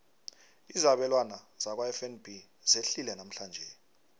izabelwana zakwafnb zehlile namhlanje